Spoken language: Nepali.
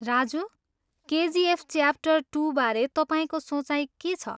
राजु, केजिएफ च्यापटर टुबारे तपाईँको सोचाइ के छ?